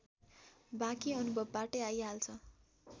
बाँकी अनुभवबाटै आइहाल्छ